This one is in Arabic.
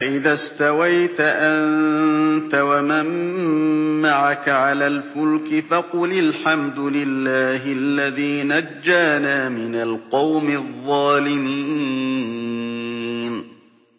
فَإِذَا اسْتَوَيْتَ أَنتَ وَمَن مَّعَكَ عَلَى الْفُلْكِ فَقُلِ الْحَمْدُ لِلَّهِ الَّذِي نَجَّانَا مِنَ الْقَوْمِ الظَّالِمِينَ